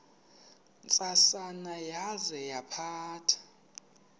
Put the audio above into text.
ntsasana yaza yaphatha